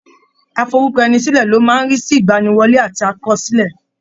Aforúkọẹnisílẹ̀ ló máa ń rí sí ìgbaniwọlé àti àkọsílẹ̀.